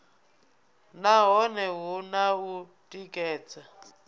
nahone hu na u tikedza